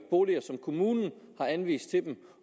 boliger som kommunen har anvist til dem